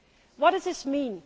What does this mean?